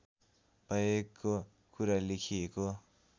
भएको कुरा लेखिएको